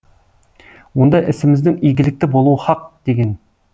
онда ісіміздің игілікті болуы хақ деген